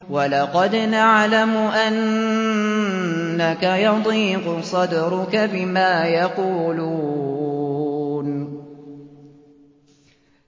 وَلَقَدْ نَعْلَمُ أَنَّكَ يَضِيقُ صَدْرُكَ بِمَا يَقُولُونَ